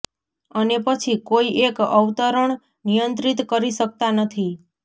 અને પછી કોઈ એક અવતરણ નિયંત્રિત કરી શકતા નથી